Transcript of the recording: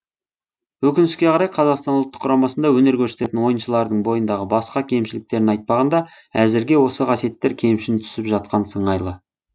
өкінішке қарай қазақстан ұлтық құрамасында өнер көрсететін ойыншылардың бойындағы басқа кемшіліктерін айтпағанда әзірге осы қасиеттер кемшін түсіп жатқан сыңайлы